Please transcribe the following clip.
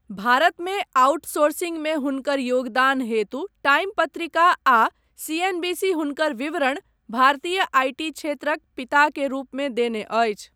भारतमे आउटसोर्सिंगमे हुनकर योगदान हेतु टाइम पत्रिका आ सीएनबीसी हुनकर विवरण 'भारतीय आईटी क्षेत्रक पिता के रूपमे देने अछि।